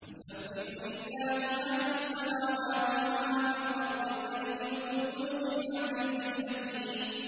يُسَبِّحُ لِلَّهِ مَا فِي السَّمَاوَاتِ وَمَا فِي الْأَرْضِ الْمَلِكِ الْقُدُّوسِ الْعَزِيزِ الْحَكِيمِ